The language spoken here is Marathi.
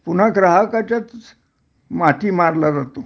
पुन्हा ग्राहकाच्याच माथी मारला जातो